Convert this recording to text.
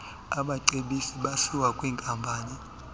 abacebisi basiwa kwwinkampani